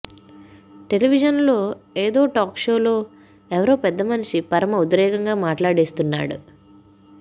television లో ఏదో talk షోలో ఎవరో పెద్దమనిషి పరమ ఉద్రేకంగా మాట్లాడేస్తున్నాడు